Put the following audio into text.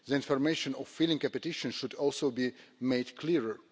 Information on filing a petition should also be made clearer.